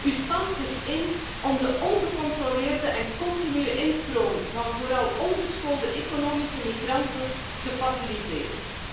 U spant zich in om de ongecontroleerde en continue instroom van vooral ongeschoolde economische migranten te faciliteren.